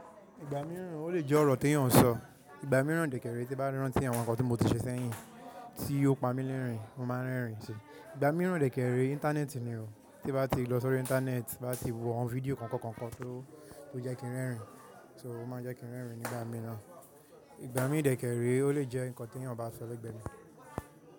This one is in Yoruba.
Ìgbà mìíràn ó lè jẹ́ ọ̀rọ̀ tí èèyàn ń sọ. Ìgbà mìíràn dè kẹ̀ ré tí mo bá rántí àwọn nǹkan tí mo ti ṣe sẹ́yìn tí ó pa mí lérìn-ín, mo máa ń rẹ́rìn-ín si. Ìgbà mìíràn dè kè ré, Íńtánẹ́ẹ̀tì ni o. Tí bá ti lọ sórí Íńtánẹ́ẹ̀tì, bá ti wo àwọn fídíò kọ̀ọ̀kan tó jẹ́ kí n rẹ́rìn-ín, so mo máa ń jẹ́ kí n rẹ́rìn-ín nígbà mìíràn. Ìgbà mi dè kè ẹré, ó lè jẹ́ nǹkan tí èèyàn bá sọ lẹ́gbẹ̀ẹ́ ni.